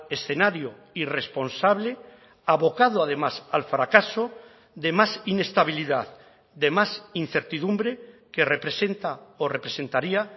escenario irresponsable abocado además al fracaso de más inestabilidad de más incertidumbre que representa o representaría